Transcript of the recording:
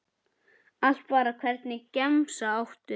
Allt bara Hvernig gemsa áttu?